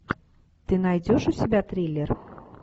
ты найдешь у себя триллер